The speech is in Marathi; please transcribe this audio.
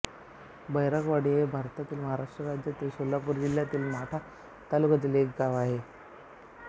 बैरागवाडी हे भारतातील महाराष्ट्र राज्यातील सोलापूर जिल्ह्यातील माढा तालुक्यातील एक गाव आहे